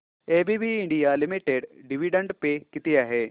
ABB India limited dividend पे किती आहे